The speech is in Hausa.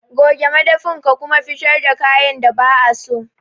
Goge madafin ka kuma fitar da kayan da ba'a so.